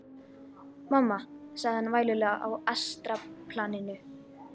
Mamma, sagði hann vælulegur á astralplaninu.